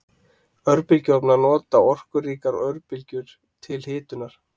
Örbylgjuofnar nota orkuríkar örbylgjur til hitunar.